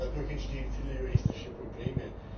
Dadurch entstehen viele juristische Probleme.